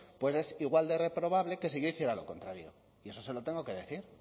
pues es igual de reprobable que si yo hiciera lo contrario y eso se lo tengo que decir